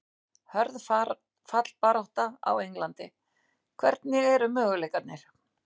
Hörð fallbarátta á Englandi- Hvernig eru möguleikarnir?